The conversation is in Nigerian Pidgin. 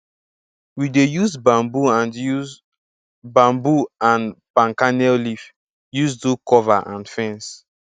we dey use bamboo and use bamboo and palm kernel leaf use do cover and fence